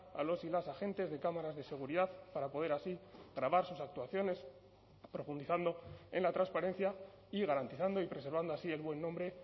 a los y las agentes de cámaras de seguridad para poder así grabar sus actuaciones profundizando en la transparencia y garantizando y preservando así el buen nombre